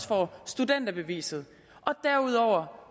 få studenterbeviset derudover